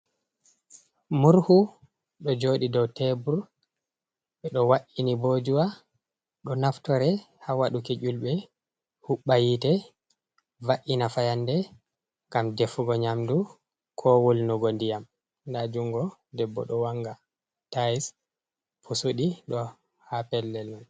Murhu do jodi dow tebur ɓe ɗo wa’ini ɓojuwa ɗo naftore ha waduki julɓe hubba yite va’ina fayanɗe ngam ɗefugo nyamdu ko wolnugo ndiyam ɗa jungo debbo do wanga tayis pusuɗi ɗo ha pellel man.